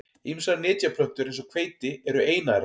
Ýmsar nytjaplöntur eins og hveiti eru einærar.